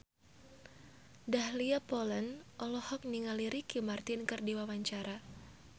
Dahlia Poland olohok ningali Ricky Martin keur diwawancara